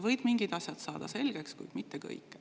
Võid mingid asjad selgeks saada, kuid mitte kõik.